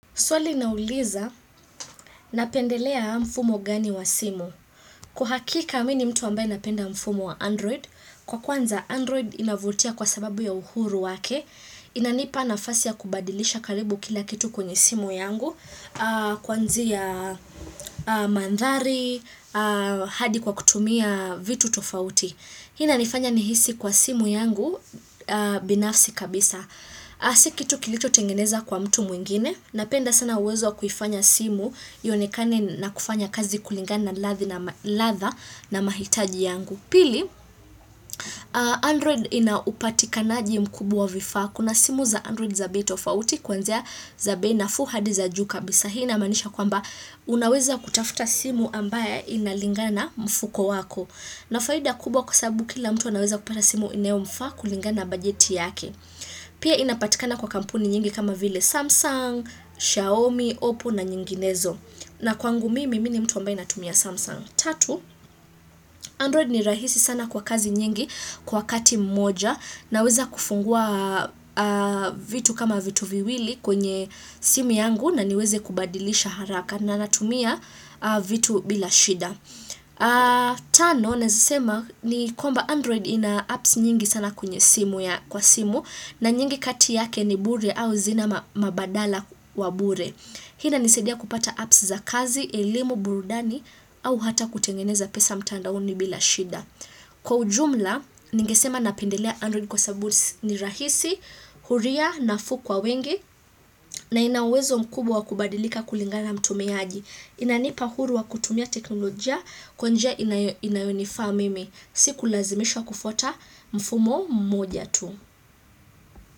Swali linauliza, napendelea mfumo gani wa simu. Kwahakika, mimini mtu ambaye napenda mfumo wa Android. Kwa kwanza, Android inavutia kwa sababu ya uhuru wake. Inanipa nafasi ya kubadilisha karibu kila kitu kwenye simu yangu. Kuanzia mandhari, hadi kwa kutumia vitu tofauti. Hii ina nifanya nihisi kwa simu yangu binafsi kabisa. Si kitu kilicho tengeneza kwa mtu mwingine. Napenda sana uwezo wakuifanya simu iyonekane na kufanya kazi kulingana naladha na mahitaji yangu. Pili, Android inaupatikanaji mkubwa wa vifaakuna simu za Android zabei tofauti kwanzia zabei nafuuhadi za juu kabisahii inamanisha kwamba unaweza kutafuta simu ambaye inalingana mfuko wako. Ina faida kubwa kwasababu kila mtu anaweza kupata simu inayo mfa kulingana na bajeti yake. Pia inapatikana kwa kampuni nyingi kama vile Samsung, Xiaomi, Oppo na nyinginezo na kwangu mimi nimtu ambaye natumia Samsung Tatu, Android ni rahisi sana kwa kazi nyingi kwa wakati mmoja na weza kufungua vitu kama vitu viwili kwenye simu yangu na niweze kubadilisha haraka na natumia vitu bila shida Tano, nawesema ni kwamba Android ina apps nyingi sana kwenye simu ya kwa simu na nyingi kati yake ni bure au zina mabadala wa bure Hii inanisadia kupata apps za kazi, elimu, burudani au hata kutengeneza pesa mtandaoni bila shida Kwa ujumla, ningesema napendelea Android kwasababu ni rahisi Huria nafuukwa wengi na inauwezo mkubwa wakubadilika kulingana namtumiaji Inanipa huru wa kutumia teknolojia kwanjia inayonifaamimi siku lazimishwa kufwata mfumo mmoja tu.